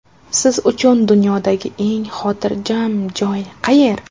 Siz uchun dunyodagi eng xotirjam joy qayer?